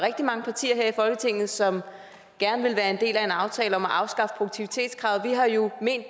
rigtig mange partier her i folketinget som gerne vil være en del af en aftale om at afskaffe produktivitetskravet vi har jo ment